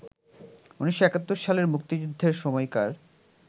১৯৭১ সালে মুক্তিযুদ্ধের সময়কার